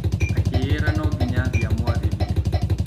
Akĩĩyera no nginya athiĩ amwarĩrie.